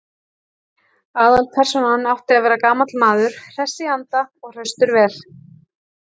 Aðalpersónan átti að vera gamall maður, hress í anda og hraustur vel.